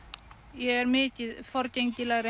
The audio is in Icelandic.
ég er mikið